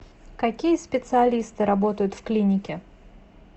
какие специалисты работают в клинике